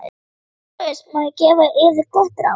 LÁRUS: Má ég gefa yður gott ráð?